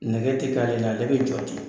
Nɛgɛ tɛ k'ale la ale bɛ jɔ ten